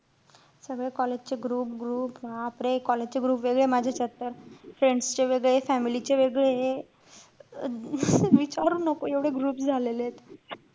सगळे college चे group group बापरे! college चे group वेगळे, माझ्या यांच्यात तर, friends चे वेगळे, family चे वेगळेय. अं विचारू नको एवढे group झालेलेत.